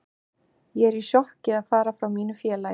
Ég er í sjokki að fara frá mínu félagi.